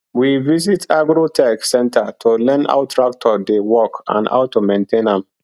we visit agro tech centre to learn how tractor dey work and how to maintain am